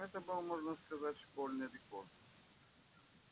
это был можно сказать школьный рекорд